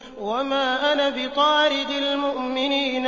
وَمَا أَنَا بِطَارِدِ الْمُؤْمِنِينَ